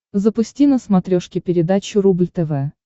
запусти на смотрешке передачу рубль тв